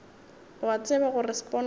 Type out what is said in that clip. o a tseba gore sponono